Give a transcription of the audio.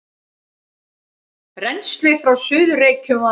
Rennslið frá Suður-Reykjum var